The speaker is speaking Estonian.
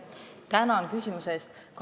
Tänan küsimuse eest!